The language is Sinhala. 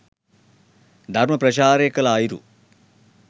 ධර්ම ප්‍රචාරය කළ අයුරු